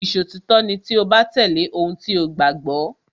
Ìṣòtítọ́ ni tí o bá tẹ̀lé ohun tí o gbàgbọ́.